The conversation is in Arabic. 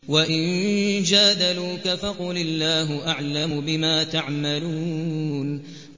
وَإِن جَادَلُوكَ فَقُلِ اللَّهُ أَعْلَمُ بِمَا تَعْمَلُونَ